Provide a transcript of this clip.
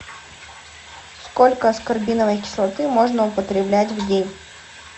сколько аскорбиновой кислоты можно употреблять в день